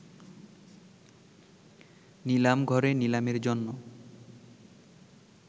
নিলামঘরে নিলামের জন্য